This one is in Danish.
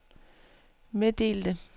meddelte